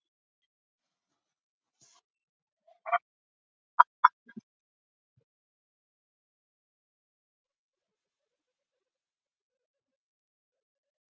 Ísidór, áttu tyggjó?